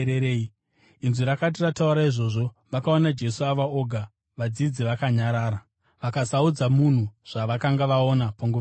Inzwi rakati rataura izvozvo, vakaona Jesu ava oga. Vadzidzi vakanyarara, vakasaudza munhu zvavakanga vaona panguva iyoyo.